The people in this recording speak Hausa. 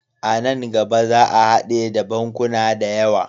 A nan gaba za a hade da bankuna da yawa.